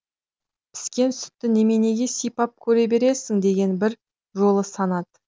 піскен сүтті неменеге сипап көре бересің деген бір жолы санат